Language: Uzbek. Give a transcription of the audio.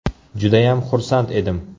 Judayam xursand edim.